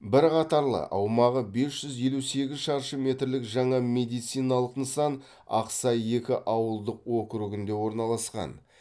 бір қатарлы аумағы бес жүз елу сегіз шаршы метрлік жаңа медициналық нысан ақсай екі ауылдық округінде орналасқан